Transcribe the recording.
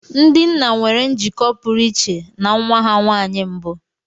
Ndị nna nwere njikọ pụrụ iche na nwa ha nwanyị mbụ.